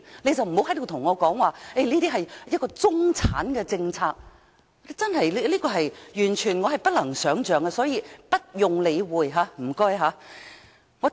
所以，不要跟我說這是中產的政策，這是我完全不能想象，請不用理會他們的意見。